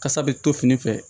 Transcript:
Kasa bɛ to fini fɛ